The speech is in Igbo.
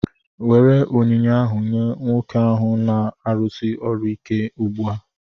Nwere onyinye ahu nye nwoke ahụ na-arụsi ọrụ ike ugbua!